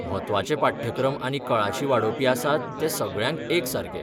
म्हत्वाचे पाठ्यक्रम आनी कळाशी वाडोवपी आसात ते सगळ्यांक एकसारके.